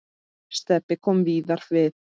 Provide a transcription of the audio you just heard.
Stebbi kom víðar við.